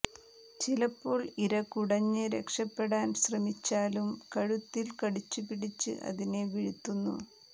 ചിലപ്പോൾ ഇര കുടഞ്ഞ് രക്ഷപ്പെടാൻ ശ്രമിച്ചാലും കഴുത്തിൽ കടിച്ചുപിടിച്ച് അതിനെ വീഴ്ത്തുന്നു